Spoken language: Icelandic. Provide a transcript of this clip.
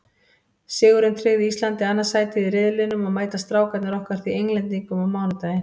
Sigurinn tryggði Íslandi annað sætið í riðlinum og mæta Strákarnir okkar því Englendingum á mánudaginn.